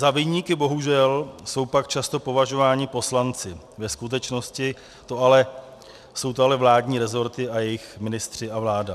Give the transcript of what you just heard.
Za viníky bohužel jsou pak často považováni poslanci, ve skutečnosti jsou to ale vládní resorty a jejich ministři a vláda.